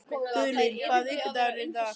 Guðlín, hvaða vikudagur er í dag?